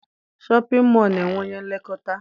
Shọpịn mọọ na-enwe onye nlekọta